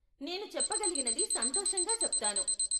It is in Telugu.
నేను చెప్పగలిగినది సంతోషంగా చెప్తాను.